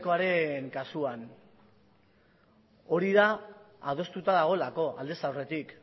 ykoaren kasuan hori da adostuta dagoelako aldez aurretik